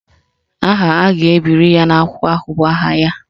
Aha a ga-ebiri ya n'ákwà ahụ bụ aha ya